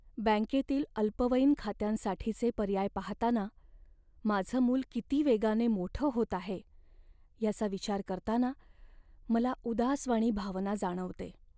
बँकेतील अल्पवयीन खात्यांसाठीचे पर्याय पाहताना माझं मूल किती वेगाने मोठं होत आहे याचा विचार करताना मला उदासवाणी भावना जाणवते.